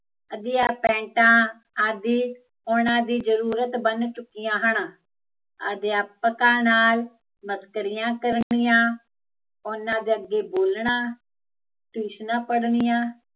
ਅੱਧੀਆ ਪੈਂਟਾਂ ਆਦਿ ਉਹਨਾਂ ਦੀ ਜਰੂਰਤ ਬਣ ਚੁੱਕੀਆ ਹਨ ਅਧਿਆਪਕਾਂ ਨਾਲ਼, ਮਸਕਰੀਆ ਕਰਨੀਆ ਉਹਨਾਂ ਦੇ ਅੱਗੇ ਬੋਲਣਾ, ਟਿਊਸ਼ਨਾ ਪੜਨੀਆ